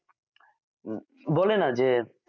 উম বলে না যে